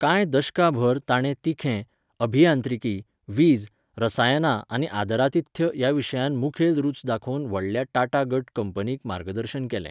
कांय दशकांभर, ताणें तिखें, अभियांत्रिकी, वीज, रसायनां आनी आदरातिथ्य ह्या विशयांत मुखेल रुच दाखोवन व्हडल्या टाटा गट कंपनींक मार्गदर्शन केलें.